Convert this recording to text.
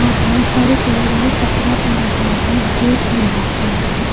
और बोहोत सारे पेड़ है कचरा पड़ा हुआ है गेट है ब्लैक कलर का--